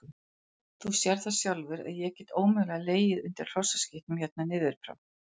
Þú sérð það sjálfur að ég get ómögulega legið undir hrossaskítnum hérna niður frá.